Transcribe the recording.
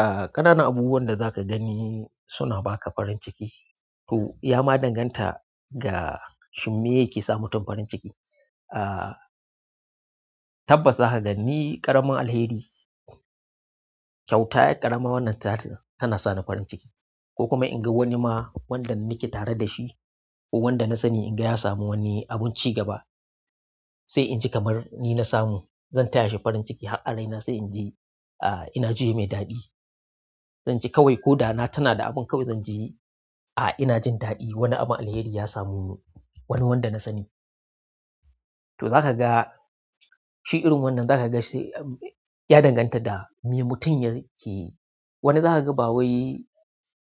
Ah, ƙananan abubuwan da zaka gani suna baka farin ciki. To, ya ma danganta ga shim me yake sa mutum farin ciki. Ah, tabbas zaka ga ni ƙaramin alheri, kyauta yar ƙarama wannan tana sani farin ciki. Kokuma inga wanima wanda nike tare dashi ko wanda na sani inga ya samu wani abun cigaba sai inji kamar ni nasamu zan taya shi farin ciki har a raina sai in ji, ah, ina jiye mai daɗi. Zan ji kawai koda na tina da abun kawai zan ji, ah, ina jin daɗi wani abun alheri ya samu wani wanda na sani. To za ka ga, shi irin wannan za ka ga shi ya danganta da me mutum yake yi. Wani za ka ga bawai